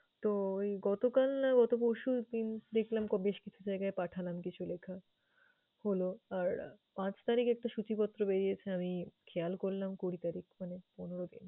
তো এই গতকাল না গত পরশুদিন দেখলাম বেশ কিছু জায়গায় পাঠালাম কিছু লিখা হলো আর পাঁচ তারিখ একটা সূচিপত্র বেরিয়েছে আমি খেয়াল করলাম কুড়ি তারিখ মানে পনের দিন।